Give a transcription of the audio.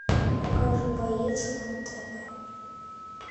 покажи боец на тв